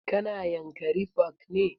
Ka na yanakri park ne?